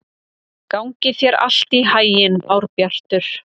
Gangi þér allt í haginn, Árbjartur.